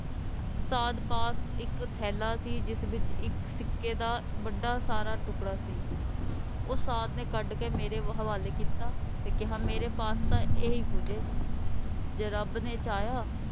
ਸਾਧ ਪਾਸ ਇੱਕ ਥੈਲਾ ਸੀ ਜਿਸ ਵਿੱਚ ਇੱਕ ਸਿੱਕੇ ਦਾ ਵੱਡਾ ਸਾਰਾ ਟੁਕੜਾ ਸੀ ਉਹ ਸਾਧ ਨੇ ਕੱਢ ਕੇ ਮੇਰੇ ਹਵਾਲੇ ਕੀਤਾ ਤੇ ਕਿਹਾ ਮੇਰੇ ਪਾਸ ਤਾਂ ਏਹੀ ਕੁਝ ਏ ਜੇ ਰੱਬ ਨੇ ਚਾਹਿਆ,